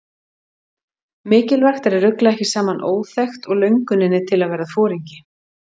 Mikilvægt er að rugla ekki saman óþekkt og lönguninni til að verða foringi.